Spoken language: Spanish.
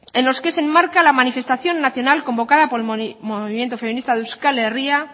en los que se enmarca la manifestación nacional convocada por el movimiento feminista de euskal herria